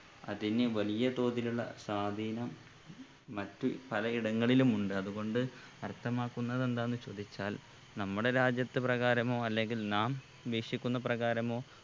അതിന് വലിയ തോതിലുള്ള സ്വാധീനം മറ്റു പല ഇടങ്ങളിലുമുണ്ട് അത്കൊണ്ട് അർത്ഥമാക്കുന്നത് എന്താന്ന് ചോദിച്ചാൽ നമ്മടെ രാജ്യത്ത് പ്രകാരമോ അല്ലെങ്കിൽ നാം വീക്ഷിക്കുന്ന പ്രകാരമോ